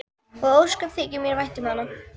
Og ósköp þykir mér vænt um hana.